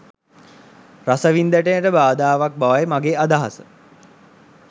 රසවින්දනයට බාධාවක් බවයි මගේ අදහස..